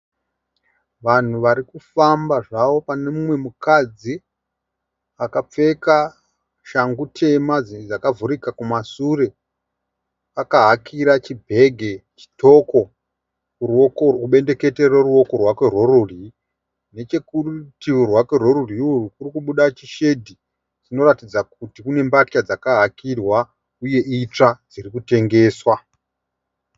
Vanhu varikufamba zvavo, pane umwe mukadzi akapfeka shangu tema dzakavhurika kumashure, akahakira chibhegi chitoko kubendekete reruoko rwake rworudyi. Nechekurutivi rwake rwerudyi kurikubuda chishedhi chinorakidza kuti kune mbatya dzakahakirwa uye itsva dziri kutengeswa.